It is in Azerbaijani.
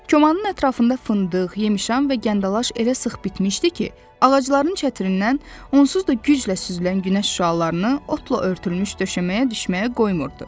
Komanın ətrafında fındıq, yemşan və gəndalaş elə sıx bitmişdi ki, ağacların çətirindən onsuz da güclə süzülən günəş şüalarını otla örtülmüş döşəməyə düşməyə qoymurdu.